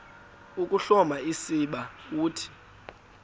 ukuhloma usiba uthi